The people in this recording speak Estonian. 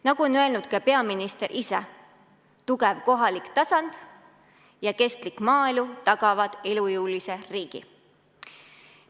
Nagu on öelnud ka peaminister ise, tugev kohalik tasand ja kestlik maaelu tagavad elujõulise riigi.